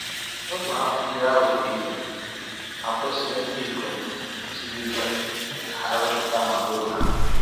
Ogbe akpụ ndị ahụ buru ibu ma kwesịrị ndịikom siri ike ka ha wepụta ma buru ha.